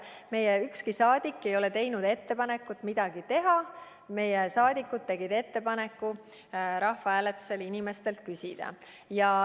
Meie, ükski saadik meist ei ole teinud ettepanekut midagi teha, meie liikmed tegid ettepaneku rahvahääletusel inimestelt küsida.